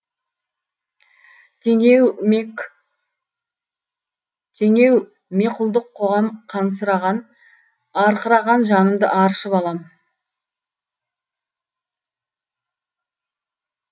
теңеу меқұлдық қоғам қансыраған арқыраған жанымды аршып алам